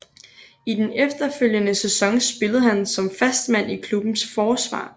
I den efterfølgende sæson spillede han som fast mand i klubbens forsvar